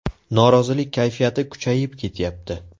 Norozilik kayfiyati kuchayib ketyapti.